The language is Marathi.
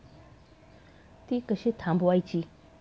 ती कशी थांबवायची?